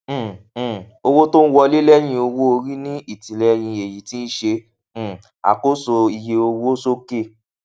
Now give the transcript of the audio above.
um um owótóńwọlé lẹyìnowóorí ní ìtìlẹyìn èyí ti ṣe um àkóso iye owó sókè